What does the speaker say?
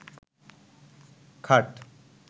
খাট